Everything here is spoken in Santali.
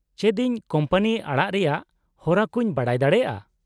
-ᱪᱮᱫ ᱤᱧ ᱠᱳᱢᱯᱟᱱᱤ ᱟᱲᱟᱜ ᱨᱮᱭᱟᱜ ᱦᱚᱨᱟ ᱠᱚᱧ ᱵᱟᱰᱟᱭ ᱫᱟᱲᱮᱭᱟᱜᱼᱟ ?